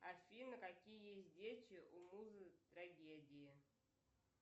афина какие есть дети у музы трагедии